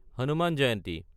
Hanuman Jayanti